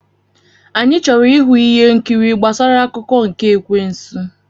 Anyị chọrọ ịhụ ihe nkiri gbasara akụkọ nke ekwensu.